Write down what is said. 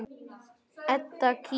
Edda kímir.